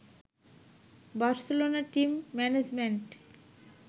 Barcelona team management